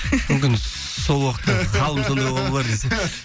мүмкін сол уақытта